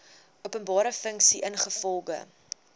openbare funksie ingevolge